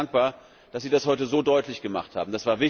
Ich bin sehr dankbar, dass Sie das heute so deutlichgemacht haben.